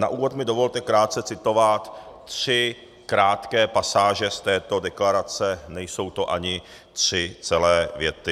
Na úvod mi dovolte krátce citovat tři krátké pasáže z této deklarace, nejsou to ani tři celé věty.